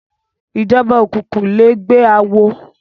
Ijòbá ókúkú lègbè àwó